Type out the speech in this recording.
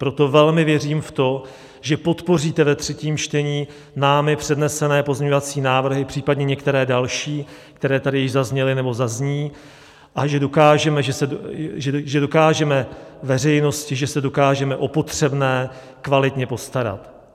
Proto velmi věřím v to, že podpoříte ve třetím čtení námi přednesené pozměňovací návrhy, případně některé další, které tady již zazněly nebo zazní, a že dokážeme veřejnosti, že se dokážeme o potřebné kvalitně postarat.